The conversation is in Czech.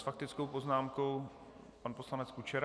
S faktickou poznámkou pan poslanec Kučera.